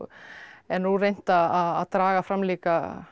er nú reynt að draga fram líka